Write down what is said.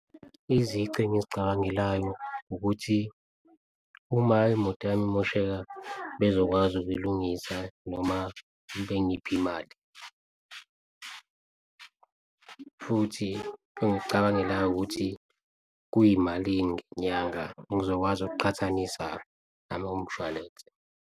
Izici engizicabangelayo ukuthi uma imoto imosheka bezokwazi ukuyilungisa noma bengiphe imali futhi engikucabangelayo ukuthi kuyimalini ngenyanga. Ngizokwazi ukuqhathanisa nalowo mshwalense.